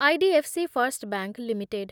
IDFC first bank limited